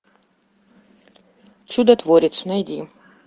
чудотворец найди